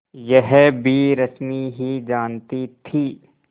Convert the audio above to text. यह भी रश्मि ही जानती थी